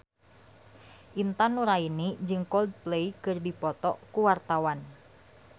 Intan Nuraini jeung Coldplay keur dipoto ku wartawan